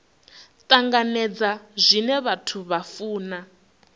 tanganedza zwine vhathu vha funa